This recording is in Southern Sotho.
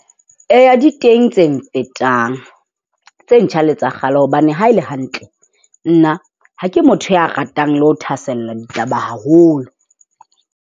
Eya, di teng tse mfetang. Tse ntjha le tsa kgale hobane haele hantle, nna ha ke motho ya ratang le ho thahasella ditaba haholo.